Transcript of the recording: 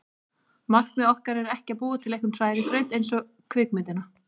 Markmið okkar er ekki að búa til einhvern hrærigraut eins og kvikmyndina